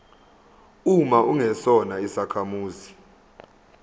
uma ungesona isakhamuzi